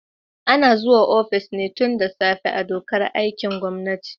Ana zuwa ofis tun da safe ne a dokar aikin gwamnati.